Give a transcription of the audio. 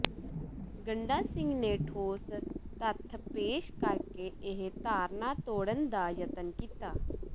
ਗੰਡਾ ਸਿੰਘ ਨੇ ਠੋਸ ਤੱਥ ਪੇਸ਼ ਕਰਕੇ ਇਹ ਧਾਰਨਾ ਤੋੜਨ ਦਾ ਯਤਨ ਕੀਤਾ